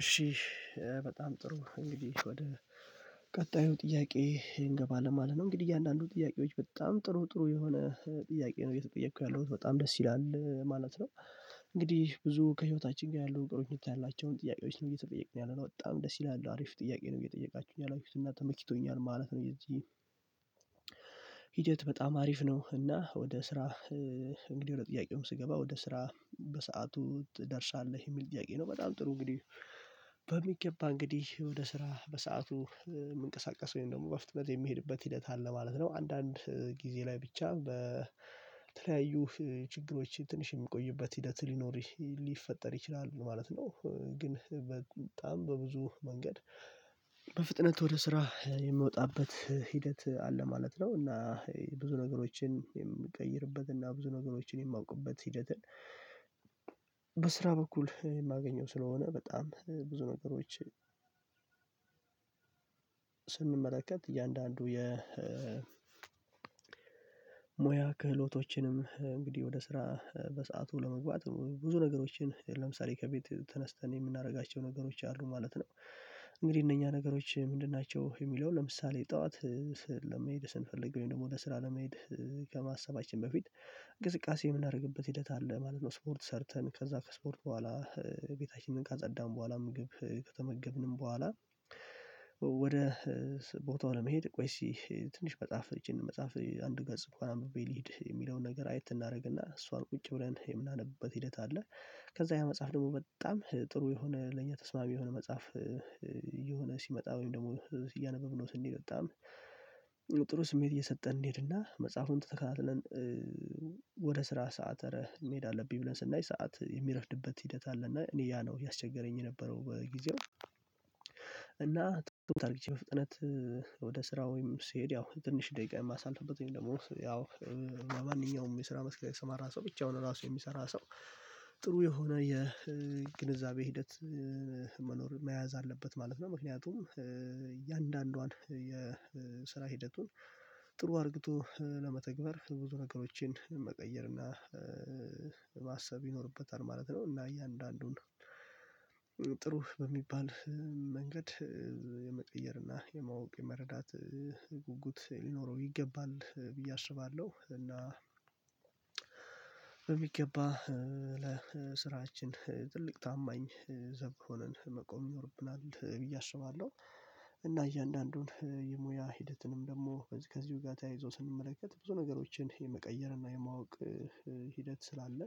እሺ በጣም ጥሩ። እንግዲህ ወደ ቀጣዩ ጥያቄ እንገባለን ማለት ነው። እንግዲህ እያንዳንዱ ጥያቄዎች በጣም ጥሩ ጥሩ የሆነ ጥያቄ ነው እየተጠየኩ ያለሁት በጣም ደስ ይላል ማለት ነው። እንግዲህ ብዙ ከህይወታችን ጋር ያሉ ቀረቤታ ያላቸውን ጥያቄዎች ነው እየተጠየቅን ያለነው። በጣም ደስ ይላል። አሪፍ ጥያቄ ነው እየጠየቃችሁኝ ያላችሁት። እና ተመችቶኛል ማለት ነው። የዚህ ሂደት በጣም አሪፍ ነው። እና ወደ ስራ እንግዲህ ወደ ጥያቄውም ስገባ ወደ ስራ በሰአቱ ትደርሳለህ? የሚል ጥያቄ ነው። በጣም ጥሩ እንግዲህ በሚገባ እንግዲህ ወደ ስራ በሰአቱ የምንቀሳቀሰው ይሄን ደግሞ በፍጥነት የሚሄድበት ሂደት አለ ማለት ነው። አንዳንድ ጊዜ ላይ ብቻ በተለያዩ ችግሮች ትንሽ የምቆዩበት ሂደት ሊኖር ሊፈጠር ይችላል ማለት ነው። ግን በጣም በብዙ መንገድ በፍጥነት ወደ ስራ የምወጣበት ሂደት አለ ማለት ነው። እና ብዙ ነገሮችን የምቀይርበት እና ብዙ ነገሮችን የማውቅበት ሂደትን በስራ በኩል የማገኘው ስለሆነ በጣም ብዙ ነገሮች ስንመለከት እያንዳንዱ የ ሙያ ክህሎቶችንም እንግዲህ ወደ ስራ በሰአቱ ለመግባት ብዙ ነገሮችን ለምሳሌ ከቤት ተነስተን የምናደርጋቸው ነገሮች አሉ ማለት ነው። እንግዲህ እነኛ ነገሮች ምንድን ናቸው? የሚለውን ለምሳሌ ጠዋት ለመሄድ ስንፈልግ ወይም ደግሞ ለስራ ለመሄድ ከማሰባችን በፊት እንቅስቃሴ የምናደርግበት ሂደት አለ ማለት ነው። ስፖርት ሰርተን ከዛ ከስፖርት በኋላ ቤታችንን ካጸዳን በኋላ ምግብ ከተመገብንም በኋላ ወደ ቦታው ለመሄድ ቆይ እስኪ ትንሽ መጽሐፍ ይቺን መጽሐፍ አንድ ገጽ እንኳን አንብቤ ልሂድ የሚለውን ነገር አየት እናደርግና እሷን ቁጭ ብለን የምናነብበት ሂደት አለ። ከዛ ያ መጽሐፍ ደግሞ መጣም ጥሩ የሆነ ለኛ ተስማሚ የሆነ መጽሐፍ የሆነ ሲመጣ ወይም ደግሞ እያነበበ ነው ስንል በጣም ጥሩ ስሜት እየሰጠን እንሄድና መጽሐፉን ተከታትለን ወደ ስራ ሰዓት እረ መሄድ አለብኝ ብለን ስናይ ሰዓት የሚረፍድበት ሂደት አለ እና እኔ ያ ነው ያስቸገረኝ የነበረው በጊዜው እና ትውት አርግቼ በፍጥነት ወደ ስራ ወይም ስሄድ ያው ትንሽ ደቂቃ የማሳልፍበት ወይም ደግሞ ያው ለማንኛውም የስራ መስክል የሰማራ ሰው ብቻውን ራሱ የሚሰራ ሰው ጥሩ የሆነ የግንዛቤ ሂደት መኖር መያዝ አለበት ማለት ነው። ምክንያቱም እያንዳንዷን የስራ ሂደቱን ጥሩ አድርግቶ ለመተግበር ብዙ ነገሮችን መቀየር እና ማሰብ ይኖርበታል ማለት ነው። እና እያንዳንዱን ጥሩ በሚባል መንገድ የመቀየርና የማወቅ የመረዳት ጉጉት ሊኖረው ይገባል ብዬ አስባለሁ። እና በሚገባ ለስራችን ትልቅ ታማኝ ዘብ ሆነን መቆም ይኖርብናል ብዬ አስባለሁ። እና እያንዳንዱን የሙያ ሂደትንም ደግሞ ከዚሁ ጋር ተያይዞ ስንመለከት ብዙ ነገሮችን የመቀየር እና የማወቅ ሂደት ስላለ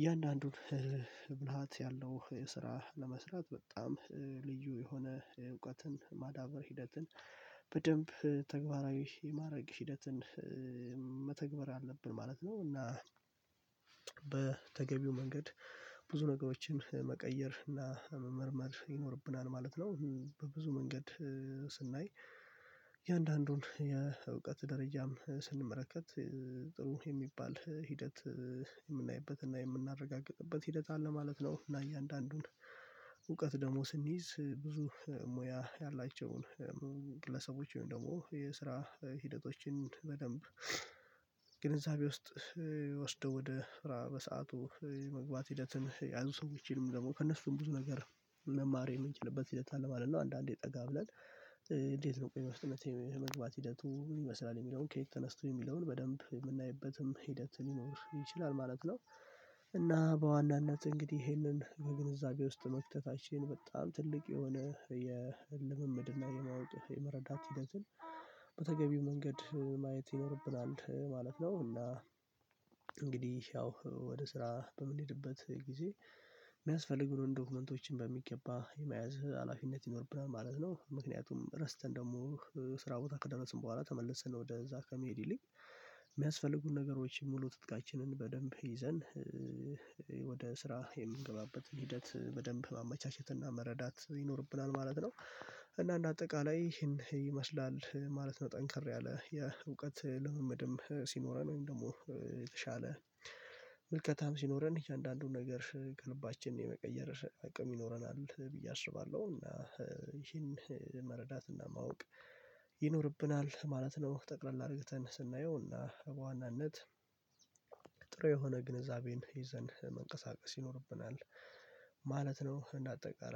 እያንዳንዱን ብልሃት ያለው ስራ ለመስራት በጣም ልዩ የሆነ እውቀትን ማዳበር ሂደትን በደንብ ተግባራዊ የማድረግ ሂደትን መተግበር አለብን ማለት ነው። እና በተገቢው መንገድ ብዙ ነገሮችን መቀየር እና መመርመር ይኖርብናል ማለት ነው። በብዙ መንገድ ስናይ እያንዳንዱን የእውቀት ደረጃም ስንመለከት ጥሩ የሚባል ሂደት የምናይበትና የምናረጋግጥበት ሂደት አለ ማለት ነው። እና እያንዳንዱን እውቀት ደግሞ ስንይዝ ብዙ ሙያ ያላቸውን ግለሰቦች ወይም ደግሞ የስራ ሂደቶችን በደንብ ግንዛቤ ውስጥ ወስዶ ወደ ስራ በሰአቱ የመግባት ሂደትን የያዙ ሰዎችንም ደግሞ ከእነሱም ብዙ ነገር መማር የምንችልበት ሂደት አለ ማለት ነው። አንዳንዴ ጠጋ ብለን እንዴት ነው ቆይታ ውስጥ መግባት ሂደቱ ምን ይመስላል የሚለውን ከየት ተነስቶ የሚለውን በደንብ የምናይበትም ሂደት ሊኖር ይችላል ማለት ነው። እና በዋናነት እንግዲህ ይሄንን በግንዛቤ ውስጥ መክተታችን በጣም ትልቅ የሆነ የልምምድ እና የማወቅ የመረዳት ሂደትን በተገቢው መንገድ ማየት ይኖርብናል ማለት ነው። እና እንግዲህ ያው ወደ ስራ በምንሄድበት ጊዜ የሚያስፈልጉን ዶክመንቶችን በሚገባ የመያዝ ሀላፊነት ይኖርብናል ማለት ነው። ምክንያቱም ረስተን ደግሞ ስራ ቦታ ከደረስን በኋላ ተመልሰን ወደዛ ከመሄድ ይልቅ የሚያስፈልጉን ነገሮች ሙሉ ትጥቃችንን በደንብ ይዘን ወደ ስራ የምንገባበትን ሂደት በደንብ ማመቻቸትና መረዳት ይኖርብናል ማለት ነው። እና እንደ አጠቃላይ ይሄን ይመስላል ማለት ነው። ጠንከር ያለ የእውቀት ልምምድም ሲኖረን ወይም ደግሞ የተሻለ ምልከታም ሲኖረን እያንዳንዱን ነገር ከልባችን የመቀየር አቅም ይኖረናል ብዬ አስባለሁ። እና ይሄን መረዳት እና ማወቅ ይኖርብናል ማለት ነው። ጠቅላላ አድርገን ስናየው እና በዋናነት ጥሩ የሆነ ግንዛቤን ይዘን መንቀሳቀስ ይኖርብናል ማለት ነው። እና አጠቃላይ